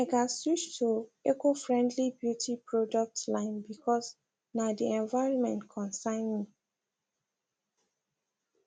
i gats switch to ecofriendly beauty products line bcause na the environment concern me